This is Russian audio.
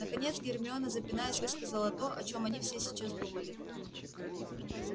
наконец гермиона запинаясь высказала то о чём они все сейчас думали